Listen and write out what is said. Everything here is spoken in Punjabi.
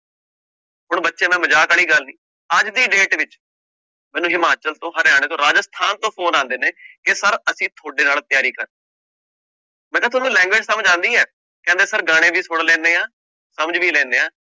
ਹੁਣ ਬੱਚੇ ਨਾਲ ਮਜ਼ਾਕ ਵਾਲੀ ਗੱਲ ਨੀ ਅੱਜ ਦੀ date ਵਿੱਚ, ਮੈਨੂੰ ਹਿਮਾਚਲ ਤੋਂ ਹਰਿਆਣਾ ਤੋਂ ਰਾਜਸਥਾਨ ਤੋਂ phone ਆਉਂਦੇ ਨੇ ਕਿ ਸਰ ਅਸੀਂ ਤੁਹਾਡੇ ਨਾਲ ਤਿਆਰੀ ਕਰ ਮੈਂ ਕਿਹਾ ਤੁਹਾਨੂੰ language ਸਮਝ ਆਉਂਦੀ ਹੈ, ਕਹਿੰਦੇ ਸਰ ਗਾਣੇ ਵੀ ਸੁਣ ਲੈਂਦੇ ਹਾਂ ਸਮਝ ਵੀ ਲੈਂਦੇ ਹਾਂ।